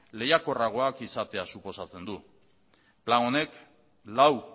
lehiakorragoak izatea suposatzen du plan honek lau